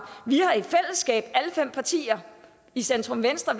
vi har i fællesskab alle fem partier i centrum venstre